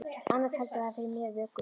Annars heldur það fyrir mér vöku.